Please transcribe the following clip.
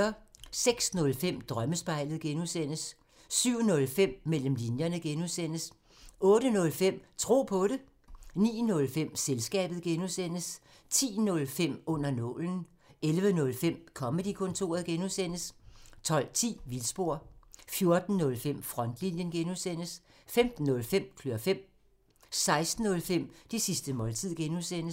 06:05: Drømmespejlet (G) 07:05: Mellem linjerne (G) 08:05: Tro på det 09:05: Selskabet (G) 10:05: Under nålen 11:05: Comedy-kontoret (G) 12:10: Vildspor 14:05: Frontlinjen (G) 15:05: Klør fem 16:05: Det sidste måltid (G)